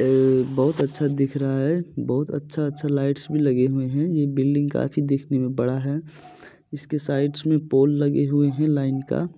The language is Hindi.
एल बहुत अच्छा दिख रहा है बहुत अच्छा-अच्छा लाइट्स भी लगे हुए है ये बिल्डिंग काफी देखने में बड़ा है इसके साइड्स में पोल लगे हुए हैं लाइन का |